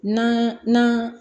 Na